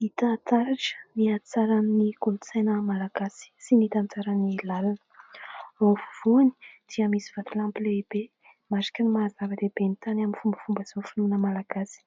Hita taratra ny hatsaran'ny kolontsaina malagasy sy ny tantarany lalina. Ao afovoany dia misy vatolampy lehibe mariky ny maha-zava-dehibe ny tany amin'ny fombafomba sy ny finoana malagasy.